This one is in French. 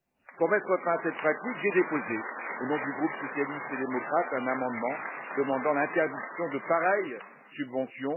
Pour mettre fin à cette pratique, j'ai déposé, au nom du groupe socialiste et démocrate, un amendement demandant l'interdiction de pareille subvention.